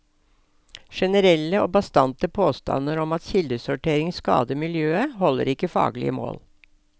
Generelle og bastante påstander om at kildesortering skader miljøet, holder ikke faglige mål.